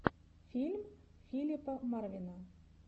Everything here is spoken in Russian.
фильм филипа марвина